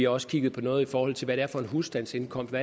også kigget på noget i forhold til husstandsindkomsten